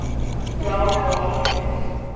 round draft pick